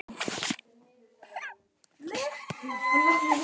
Og svo mála ég myndina af þér og sorginni.